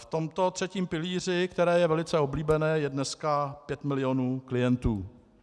V tomto třetím pilíři, který je velice oblíbený, je dneska 5 milionů klientů.